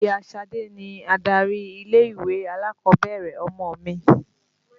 Ìya Ṣadé ni adarí ilé-ìwé alákọ̀ọ́bẹ̀rẹ̀ ọmọ mi.